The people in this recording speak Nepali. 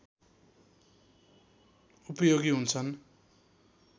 उपयोगी हुन्छन्